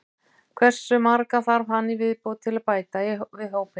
Hversu marga þarf hann í viðbót til að bæta við hópinn?